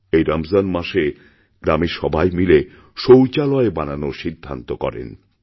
এই রমজান মাসেগ্রামের সবাই মিলে শৌচালয় বানানোর সিদ্ধান্ত করেন